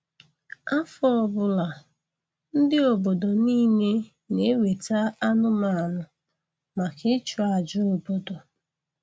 Afọ ọbụla, ndị obodo niile na-eweta anụmanụ maka ịchụ aja obodo